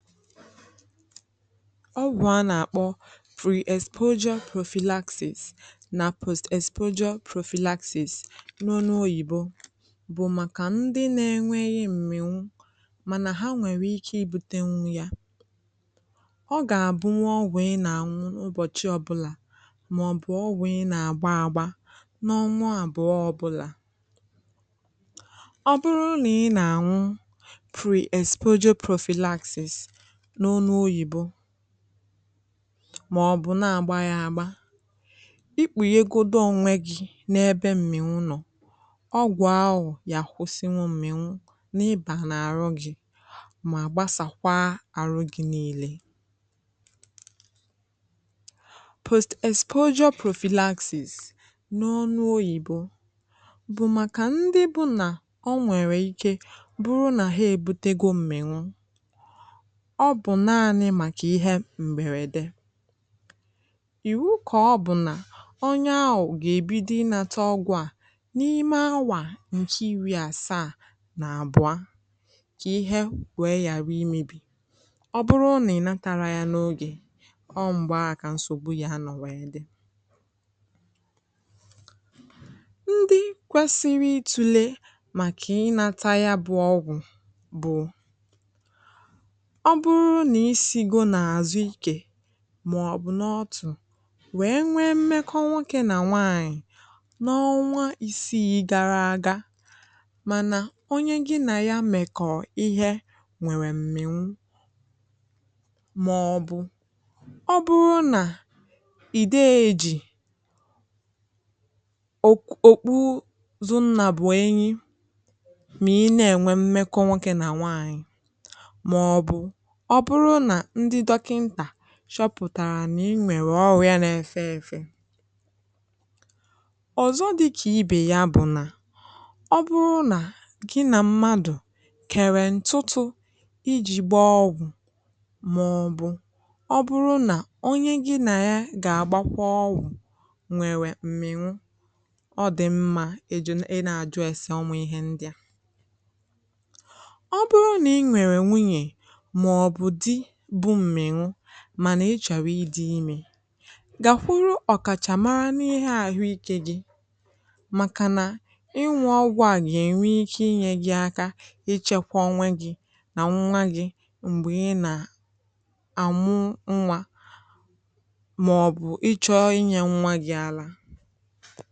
Ọ gwụ̀ a na-akpọ Pre-exposure Prophylaxis na Post-exposure Prophylaxis n’olu oyibo bụ maka ndị na-enwèghị m̀mịwụ, ma ha nwere ike ibute ya. Ọ ga-abụ ọgwụ ị na-aṅụ ụbọchị ọbụla, ma ọ bụ ọgwụ ị na-agba agba n’ọnwụ abụọ ọbụla, ọ bụrụrị na ụlọ ị na-aṅụ ya n’ọnụ oyibo, maọbụ na ị na-agba ya agba ikpù ya egodo nwe gị n’ebe m̀mịwụ nọ. Ọgwụ ahụ na-enyere igbochi m̀mịwụ ịbà n’àrụ gị, ma gbasakwaa àrụ gị niile. Post-exposure prophylaxis n’ọnụ oyibo bụ maka ndị bụ na o nwere ike ịbụ na ha ebutego m̀mịwụ ndị kwesiri itule, maọbụ n’ọtụ̀, wee nwee m̀mekọ nwoke na nwaanyị n’ọnwa isii gara aga, ma onye gị na ya mèkọ̀ọ ihe nwere m̀mịwụ. Maọbụ ọ bụrụ na ị dewonu, chọpụtara na i nwere ọrụ ya n’efe efe, dịka ị bee ya, bụ na ọ bụrụ na gị na mmadụ kèré ntùtù, iji gbaa ọgwụ, maọbụ ọ bụrụ na onye gị na ya ga-agbakwa ọwụ nwere m̀mịwụ, ọ dị mma i na-ajụ ese ọnwụ ihe ndị a. Ma, na ị chọrọ ịdị ime, gagharịa gwa dọkịta maọbụ ọkachamara n’ihe a, ikekwe gị. Maka na ịṅụ ọgwụ a ga-enwe ike inye gị aka ichekwa onwe gị na nwa gị mgbe ị na-amụ nwa, maọbụ ị chọọ inye nwa gị àlà.